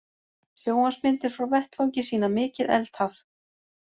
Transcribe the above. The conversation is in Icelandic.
Sjónvarpsmyndir frá vettvangi sýna mikið eldhaf